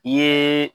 I ye